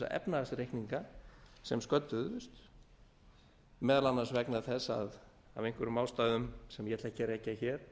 efnahagsreikninga sem sködduðust meðal annars vegna þess að af einhverjum ástæðum sem ég ætla ekki að rekja hér